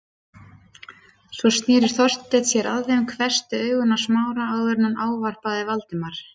Svo sneri Þorsteinn sér að þeim, hvessti augun á Smára áður en hann ávarpaði Valdimar.